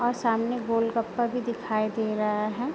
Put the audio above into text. और सामने गोलगप्पा भी दिखाई दे रहा है।